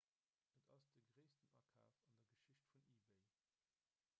et ass de gréissten akaf an der geschicht vun ebay